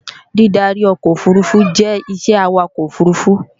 Dídarí ọkọ̀ òfurufú jẹ́ isẹ́ Awakọ̀ òfurufú